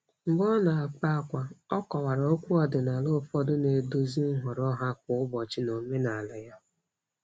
Mgbe ọ na-akpa ákwà, ọ kọwara okwu ọdịnala ụfọdụ na-eduzi nhọrọ ha kwa ụbọchị n'omenala ya.